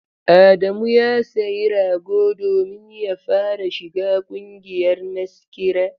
Adamu ya sayi rago domin ya fara shiga ƙungiyar maskira.